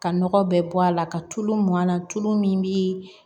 Ka nɔgɔ bɛɛ bɔ a la ka tulu mɔn an na tulu min bi